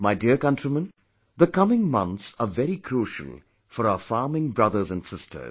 My dear countrymen, the coming months are very crucial for our farming brothers and sisters